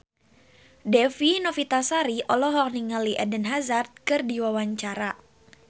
Dewi Novitasari olohok ningali Eden Hazard keur diwawancara